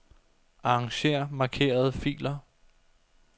Arranger markerede filer.